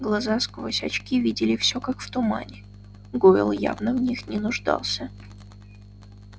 глаза сквозь очки видели всё как в тумане гойл явно в них не нуждался